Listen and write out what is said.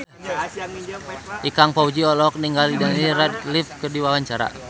Ikang Fawzi olohok ningali Daniel Radcliffe keur diwawancara